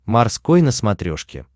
морской на смотрешке